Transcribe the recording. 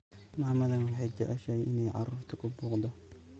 Mamadhan waxay jeceshay inay carurta kubuuqto.